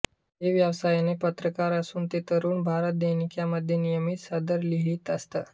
ते व्यवसायाने पत्रकार असून ते तरुण भारत दैनिकामध्ये नियमित सदर लिहीत असत